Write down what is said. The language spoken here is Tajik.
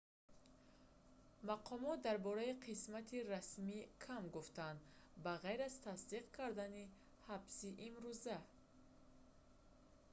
мақомот дар бораи қисмати расмӣ кам гуфтанд ба ғайр аз тасдиқ карданӣ ҳабси имруза